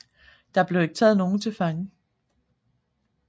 Der blev ikke taget nogen til fange